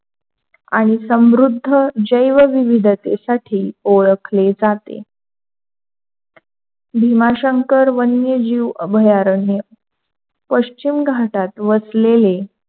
आणि समृद्ध जैवविविधतेसाठी ओळखले जाते. भीमाशंकर वन्य जीव अभयारण्य पश्चिम घाटात वसलेले,